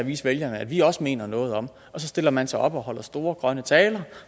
vise vælgerne at vi også mener noget om og så stillede man sig op og holdt store grønne taler